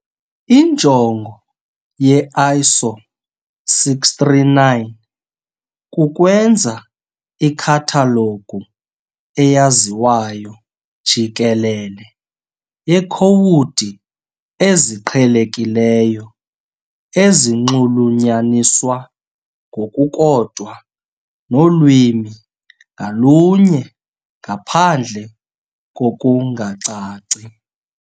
Injongo ye-ISO 639 kukwenza ikhathalogu eyaziwayo jikelele yeekhowudi eziqhelekileyo ezinxulunyaniswa ngokukodwa nolwimi ngalunye ngaphandle kokungacaci.